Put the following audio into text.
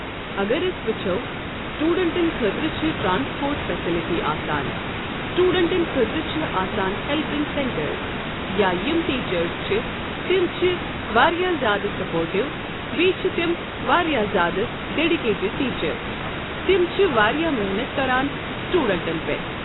اگر أسۍ وچھو سٹیوڈنٹن خأطرٕ چھ ٹرانسپوٹ فیسلٹی آسان۔ سٹیوڈنٹن خأطر چھ آسان ہٮ۪لپِنگ سینٹر۔ یا یِم ٹیٖچٔرس چھ تِم چھ واریاہ زیٛادٕ سپوٹو بیٚیہِ چھ تِم واریاہ زیٛادٕ ڈٮ۪ڈِکیٹِڈ ٹیٖچر۔ تِم چھ واریاہ محنت کران سِٹیوڈنٛٹن پٮ۪ٹھ۔ ۔